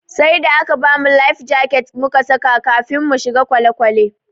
Sai da aka bamu "life jacket"mu saka kafin muka shiga kwale kwale.